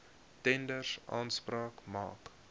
tenders aanspraak maak